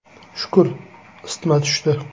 Shukr, isitma tushdi.